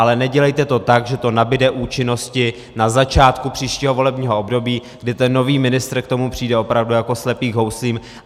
Ale nedělejte to tak, že to nabyde účinnosti na začátku příštího volebního období, kdy ten nový ministr k tomu přijde opravdu jako slepý k houslím.